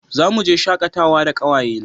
Za mu je shakatawa da kawaye na